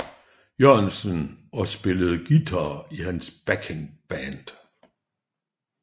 Jørgensen og spillede guitar i hans backing band